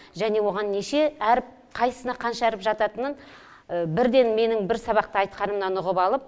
және оған неше әріп қайсына қанша әріп жататынын бірден менің бір сабақта айтқанымнан ұғып алып